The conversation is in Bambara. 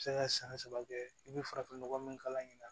Se ka san saba kɛ i bɛ farafin nɔgɔ min k'a ɲɛna